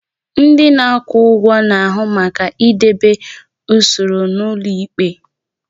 Ndị na-akwụ ụgwọ na-ahụ maka idebe usoro n'ụlọ ikpe.